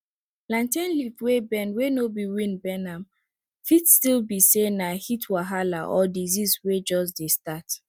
plantain leaf wey bend wey no be wind bend am fit still be say na heat wahala or disease wey jus dey start